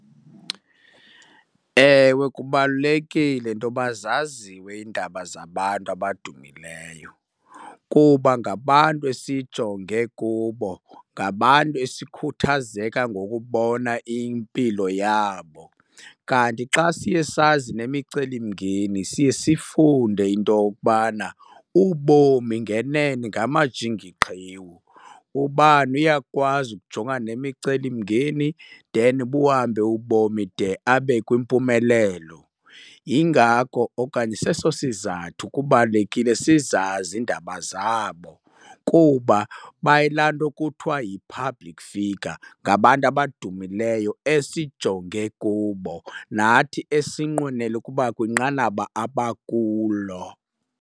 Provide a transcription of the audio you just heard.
Ewe, kubalulekile intoba zaziwe iindaba zabantu abadumileyo kuba ngabantu esijonge kubo, ngabantu esikhuthazeka ngokubona impilo yabo. Kanti xa siye sazi nemicelimngeni siye sifunde into yokubana ubomi ngenene ngamajingiqhiwu, ubani uyakwazi ukujongana nemicelimngeni then buhambe ubomi de abe kwimpumelelo. Yingako okanye seso sizathu kubalulekile sizazi iindaba zabo kuba bayilaa nto kuthiwa yi-public figure, ngabantu abadumileyo esijonge kubo nathi esinqwenela ukuba kwinqanaba abakulo.